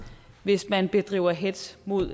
hvis man bedriver hetz mod